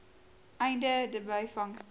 einde de byvangste